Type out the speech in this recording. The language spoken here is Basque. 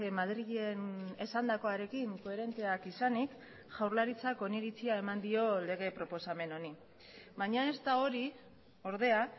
madrilen esandakoarekin koherenteak izanik jaurlaritzak oniritzia eman dio lege proposamen honi baina ez da hori ordea